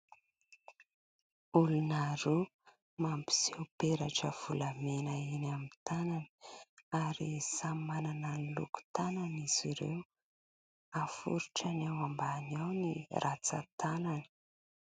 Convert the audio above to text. Olona roa mampiseho peratra volamena eny amin'ny tanany ary samy manana ny loko-tanany izy ireo. Aforitrany ao ambany ao ny ratsan-tanany.